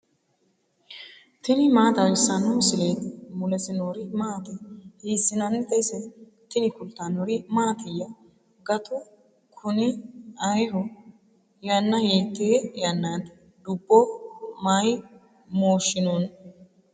tini maa xawissanno misileeti ? mulese noori maati ? hiissinannite ise ? tini kultannori mattiya? gattu kunni ayiiho? yanna hiitte yannatti? Dubbo may mooshshinno?